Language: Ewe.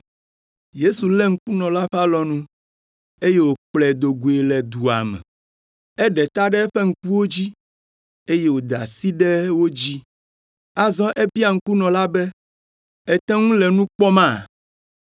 Yesu lé ŋkunɔ la ƒe alɔnu, eye wòkplɔe do goe le dua me. Eɖe ta ɖe eƒe ŋkuwo dzi, eye wòda asi ɖe wo dzi. Azɔ ebia ŋkunɔ la be, “Ète ŋu le nu kpɔma?”